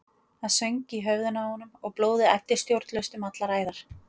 Það söng í höfðinu á honum og blóðið æddi stjórnlaust um allar æðar.